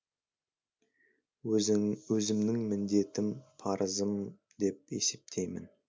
өзімнің міндетім парызым деп есептеймін